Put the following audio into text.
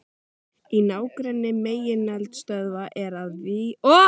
Í nágrenni megineldstöðva er og víða mikið um brennisteinskís.